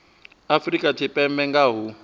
afrika tshipembe nga ha u